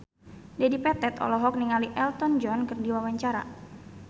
Dedi Petet olohok ningali Elton John keur diwawancara